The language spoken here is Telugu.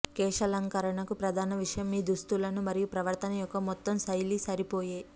కేశాలంకరణకు ప్రధాన విషయం మీ దుస్తులు మరియు ప్రవర్తన యొక్క మొత్తం శైలి సరిపోయే